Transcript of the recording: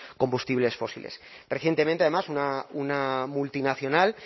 combustibles fósiles recientemente además una multinacional